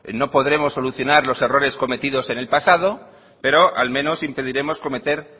no podremos solucionar los errores cometidos en el pasado pero al menos impediremos cometer